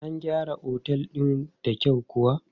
An gyara Otel din da kyau kuwa?